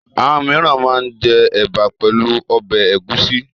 Àwọn mìíràn máa ń jẹ ẹ̀bà pẹ̀lú ọbẹ̀ ẹ̀gúsí.